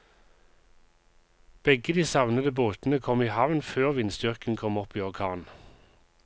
Begge de savnede båtene kom i havn før vindstyrken kom opp i orkan.